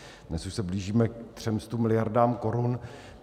Dnes už se blížíme ke 300 miliardám korun.